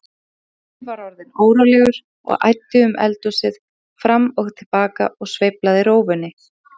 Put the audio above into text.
Pjatti var orðinn órólegur og æddi um eldhúsið fram og til baka og sveiflaði rófunni.